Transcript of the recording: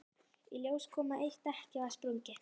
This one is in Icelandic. Í ljós kom að eitt dekkið var sprungið.